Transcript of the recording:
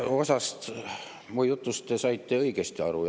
Osast mu jutust te saite õigesti aru.